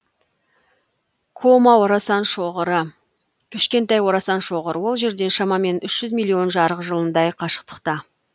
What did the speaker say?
кома орасан шоғыры кішкентай орасан шоғыр ол жерден шамамен үш жүз миллион жарық жылындай қашықтықта